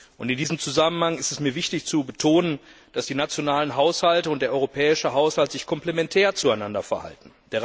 Und in diesem Zusammenhang ist es mir wichtig zu betonen, dass die nationalen Haushalte und der europäische Haushalt sich komplementär zueinander verhalten.